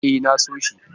E, na so shi.